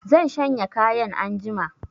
Zan shanya kayan anjima